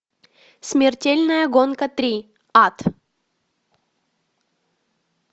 смертельная гонка три ад